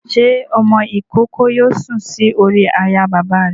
Ṣé ọmọ-ìkókó yóò sùn sórí àyà bàbá rẹ̀?